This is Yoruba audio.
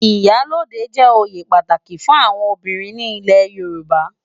Iyá lódé jè óyé pàtáki fún áwòn óbirin ni ilé Yoruba